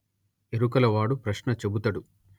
ఎరుకల వాడు ప్రశ్న చెబుతడు